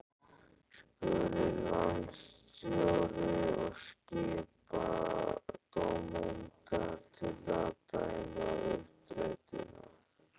Skuli landsstjórnin og skipa dómendur til að dæma uppdrættina.